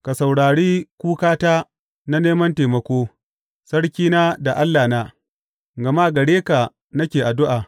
Ka saurare kukata na neman taimako, Sarkina da Allahna, gama gare ka nake addu’a.